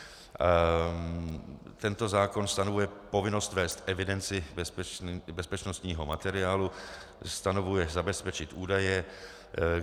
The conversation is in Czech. Tento zákon stanovuje povinnost vést evidenci bezpečnostního materiálu, stanovuje zabezpečit údaje.